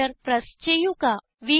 enter press ചെയ്യുക